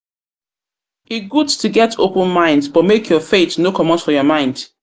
good to get open-mind but make your faith no comot for your mind.